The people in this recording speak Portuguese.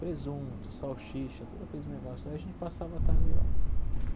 Presunto, salsicha, todos aqueles negócios lá e a gente passava a tarde lá.